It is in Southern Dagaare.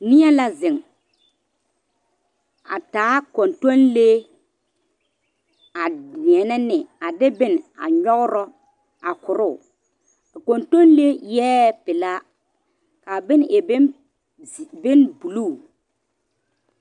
Neɛ la zeŋ a taa kɔntɔnlee a deɛnɛ ne a de bone a nyɔgrɔ a koroo a kɔntɔnlee eɛ pelaa k,a bone e bonbuluu.